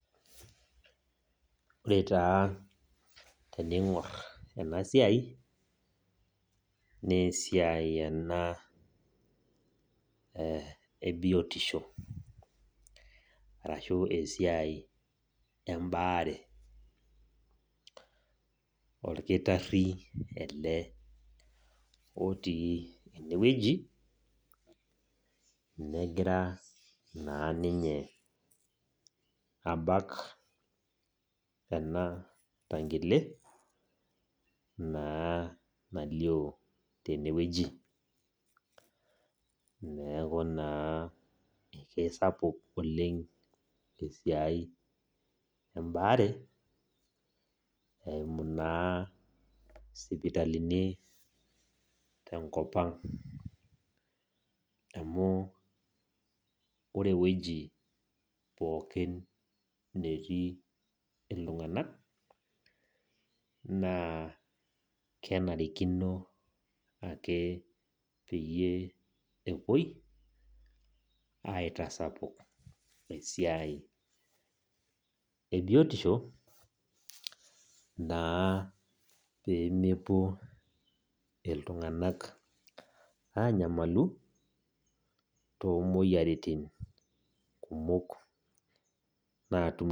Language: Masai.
Ore taa teningor enasiai naa esiai ena ebitisho arashu esiai embare . Orkitari ele otii enewueji , negira naa ninye abak enatangile naa nalio tenewueji , neku naa kisapuk esiai embaare eimu naa sipitalini tenkopang amu ore ewueji pookin netii iltnganak naa kenarikino ake peyie epuoi aitasapuk esiai ebiotisho naa pemepuo iltunganak anyamalu tomoyiaritin kumok natum.